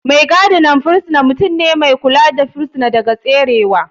Mai gadin firisina mutum ne mai kula da firisina daga tserewa.